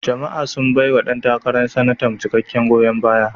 Jama'a sun baiwa ɗan takarar Sanatan cikakken goyon baya.